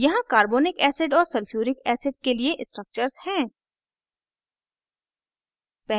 यहाँ carbonic acid और sulphuric acid के लिए structures हैं